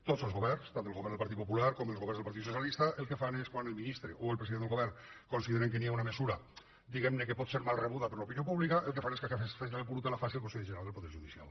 tots els governs tant el govern del partit popular com els governs del partit socialista quan el ministre o el president del govern consideren que hi ha una mesura que pot ser mal rebuda per l’opinió pública el que fan és que aquesta feina bruta la faci el consell general del poder judicial